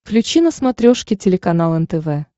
включи на смотрешке телеканал нтв